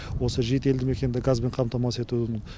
осы жеті елді мекенді газбен қамтамсыз етудің